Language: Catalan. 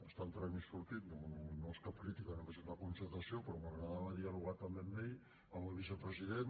està entrant i sortint no és cap crítica només una constatació però m’agradava dialogar també amb ell amb el vicepresident